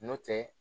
N'o tɛ